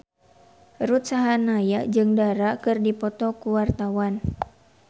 Ruth Sahanaya jeung Dara keur dipoto ku wartawan